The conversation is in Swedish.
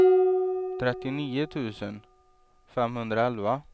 trettionio tusen femhundraelva